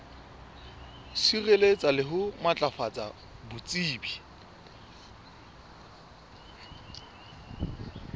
sireletsa le ho matlafatsa botsebi